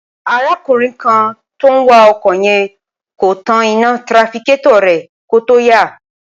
arákùnrin kan tó ń wa ọkọ̀ yẹn kò tan iná tirafikétọ̀ rẹ̀ kó tó yà